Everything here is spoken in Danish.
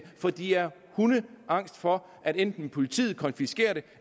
fordi de er hundeangst for at enten politiet konfiskerer det